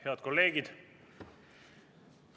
Head kolleegid!